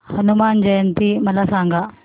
हनुमान जयंती मला सांगा